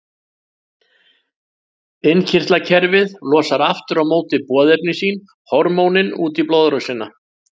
Innkirtlakerfið losar aftur á móti boðefni sín, hormónin, út í blóðrásina.